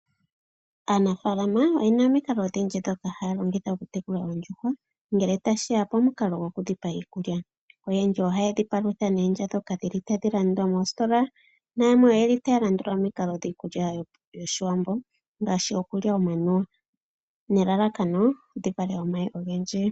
Aanafaalama oye na omikalo odhindji ndhoka haya longitha okutekula oondjuhwa ngele tashi ya pomukalo gokudhi pa iikulya. Oyendji ohaye dhi palutha noondya ndhoka hadhi landwa moositola nayamwe oya landula omikalo dhiikulya yOshiwambo ngaashi okulya omanuwa nelalakano dhi vale omayi ogendji.